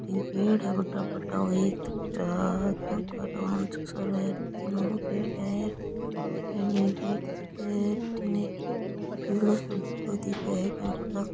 तीन पेड़ है बड़ा बड़ा ओ एक बठीने ओरु पेड़ है --